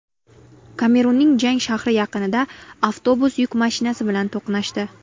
Kamerunning Jang shahri yaqinida avtobus yuk mashinasi bilan to‘qnashdi.